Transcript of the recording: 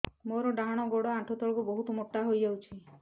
ମୋର ଡାହାଣ ଗୋଡ଼ ଆଣ୍ଠୁ ତଳକୁ ବହୁତ ମୋଟା ହେଇଯାଉଛି